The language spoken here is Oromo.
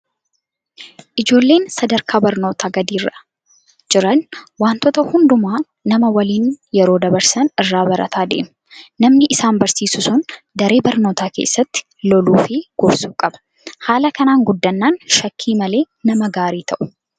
Ijoolleen sadarkaa barnootaa gadiirra jiran wantoota hundumaa nama waliin yeroo dabarsan irraa barataa deemu. Namni isaan barsiisu sun daree barnootaa keessatti loluu fi gorsuu qaba. Haala kanaan guddannaan shakkii malee nama gaarii ta'u.